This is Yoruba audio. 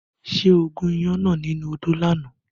Ṣé o gún iyán náà nínú odó lánàá?